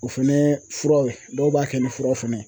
O fɛnɛ furaw dɔw b'a kɛ ni furaw fɛnɛ ye